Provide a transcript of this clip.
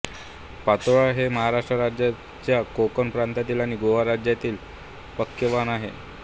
पातोळ्या हे महाराष्ट्र राज्याच्या कोकण प्रांतातील आणि गोवा राज्यातील पक्वान्न आहे